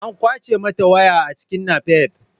An ƙwace mata waya a cikin napep.